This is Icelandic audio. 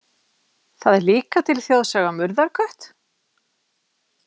Það er líka til þjóðsaga um urðarkött?